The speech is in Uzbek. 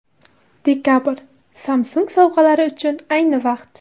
Dekabr – Samsung sovg‘alari uchun ayni vaqt.